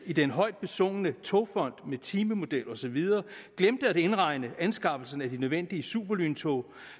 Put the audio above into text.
i den højt besungne togfond med timemodel og så videre glemte at indregne anskaffelsen af de nødvendige superlyntog